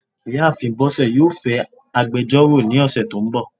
ìyáàfín bosé yọọ fẹ agbẹjọro ní osé to n bò.